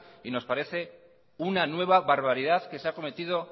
nos parece una nueva barbaridad que se ha cometido